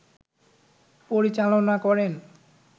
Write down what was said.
পরিচালনা করেন